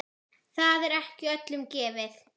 Það er ekki öllum gefið.